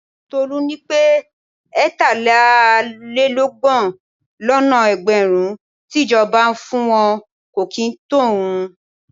Tolu ní pé ẹ̀tàlélọ́gbọ̀n lọ́nà ẹgbẹ̀rún tí ìjọba ń fún wọn kò kì í tó òun.